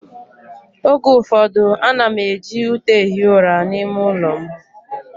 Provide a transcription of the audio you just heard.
Oge ụfọdụ, ana m eji ute ehi ụra n'ime ụlọ m